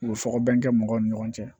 U bɛ fɔ ko bɛn kɛ mɔgɔw ni ɲɔgɔn cɛ